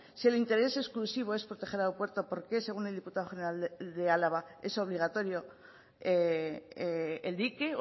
si el interés exclusivo es proteger al aeropuerto por qué según el diputado general de álava es obligatorio el dique